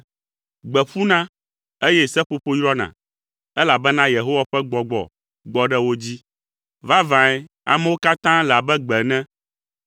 Gbe ƒuna, eye seƒoƒo yrɔna, elabena Yehowa ƒe gbɔgbɔ gbɔ ɖe wo dzi. Vavãe amewo katã le abe gbe ene.